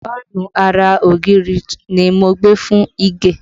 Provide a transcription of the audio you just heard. Fáànù ara ògiri ni mo gbé fún Ìgè